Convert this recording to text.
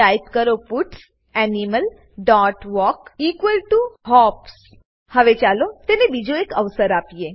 type કરો pets animal dot walk equal to hops હવે ચાલો તેને બીજો એક અવસર આપીએ